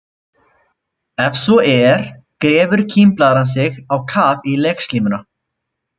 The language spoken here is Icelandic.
Ef svo er grefur kímblaðran sig á kaf í legslímuna.